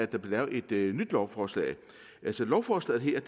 der bliver lavet et nyt lovforslag så lovforslaget her